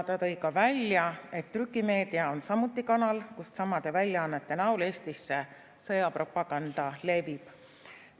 Ta tõi ka välja, et trükimeedia on samuti kanal, kust samade väljaannete näol Eestisse sõjapropaganda levib.